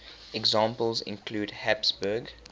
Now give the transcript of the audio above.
examples include habsburg